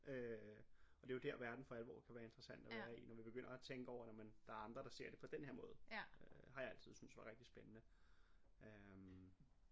Øh og det jo der verden for alvor kan være interessant at være i når vi begynder at tænker over nårh men der er andre der ser det på den her måde øh har jeg altid synes var rigtig spændende øh